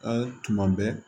A tuma bɛɛ